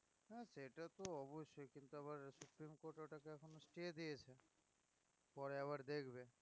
সেটা তো অবশ্যই কিন্তু আবার পরে আবার দেখবে